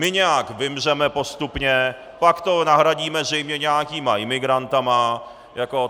My nějak vymřeme postupně, pak to nahradíme zřejmě nějakými imigranty.